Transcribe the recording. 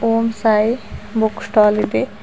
ಓಂ Sai book stall ಇದೆ.